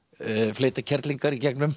fleyta kerlingar í gegnum